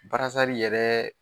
Barasari yɛrɛ